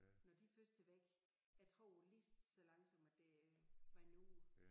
Når de først er væk jeg tror lige så langsomt at det vander ud